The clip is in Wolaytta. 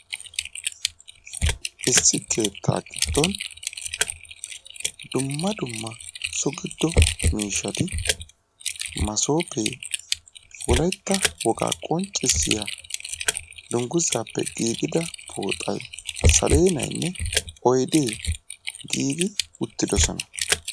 issi keetta gidgon dumma dumma so giddo miishshati massoppe, wolaytta woga qonccissiya dungguzappe giigida pooxay salenayinne oyde giigi uttidoosona.